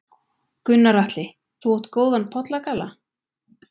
Gunnar Atli: Þú átt góðan pollagalla?